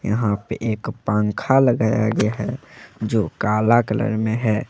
यहाँ पे एक पंखा लगाया गया है जो काला कलर में है।